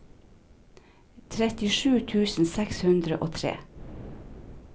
trettisju tusen seks hundre og tre